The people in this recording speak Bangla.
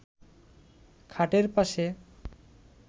খাটের পাশে